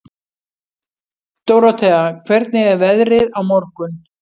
Dórótea, hvernig er veðrið á morgun?